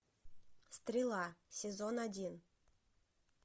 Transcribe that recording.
стрела сезон один